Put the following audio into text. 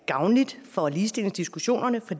gavnligt for ligestillingsdiskussionen for